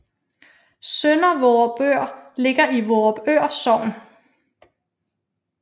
Sønder Vorupør ligger i Vorupør Sogn